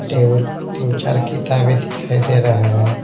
Table तीन चार किताबें दिखाई दे रहे हैं ।